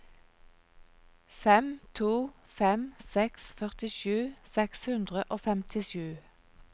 fem to fem seks førtisju seks hundre og femtisju